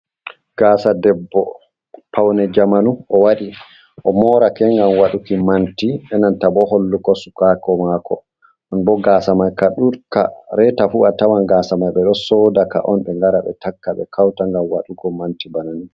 Gasa debbo paune jamanu o wadi, o morake ngam waɗuki manti, e nanta bo hollugo sukako mako, non bo gasa mai ka ɗudka reta fu a tawan gasa mai ɓe ɗo sodaka on ɓe ngara ɓe takka ɓe kauta ngam waɗugo manti bana ni.